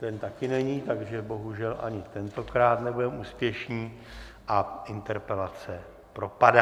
Ten taky není, takže bohužel ani tentokrát nebudeme úspěšní a interpelace propadá.